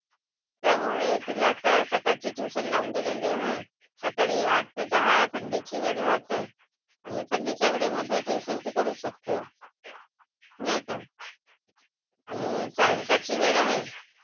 त्यामुळे तिला आता सकाळची ट्युशन लावून दिलेली आहे. सकाळी आठ ते दहा थंडीची वेळ राहते. आणि थंडीच्या वेळेमधे ट्युशन ती करू शकते. नाही काय? आणि सायंकाळची वेळ आहे.